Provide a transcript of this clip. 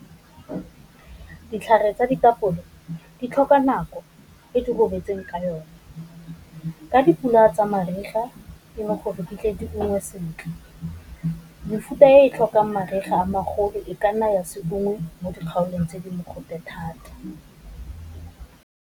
Ditlhare tsa ditapole di tlhoka nako e di ka yone, ka dipula tsa mariga di gole sentle. Mefuta e e tlhokang mariga a magolo e ka nna ya seungwe mo dikgaolong tse di mogote thata.